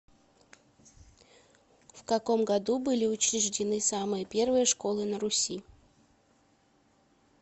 в каком году были учреждены самые первые школы на руси